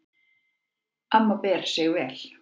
Amma ber sig vel.